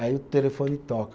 Aí o telefone toca.